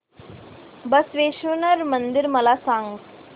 बसवेश्वर मंदिर मला सांग